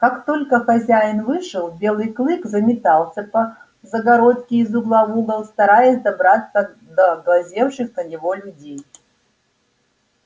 как только хозяин вышел белый клык заметался по загородке из угла в угол стараясь добраться до глазевших на него людей